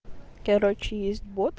короче есть бот